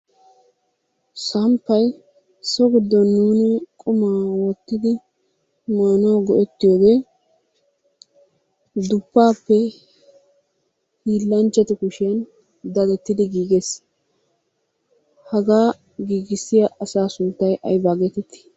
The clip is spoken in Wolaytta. Samppay so giddon nuuni qumaa wottidi maanawu go'ettiyogee duppaappe hiillanchchatu kushiyan dadettidi giigees. Hagaa giigissiya asaa sunttay aybaa geetettii?